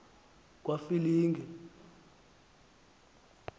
kwafilingi